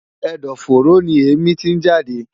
Ẹ̀dọ̀-fóró ni èémí tí ń jáde.